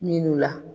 Minnu la